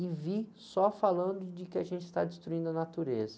E vi só falando de que a gente está destruindo a natureza.